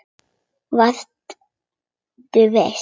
Vertu viss.